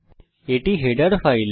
এটি আমাদের header file